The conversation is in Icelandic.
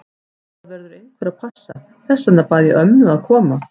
Það verður einhver að passa, þess vegna bað ég ömmu að koma.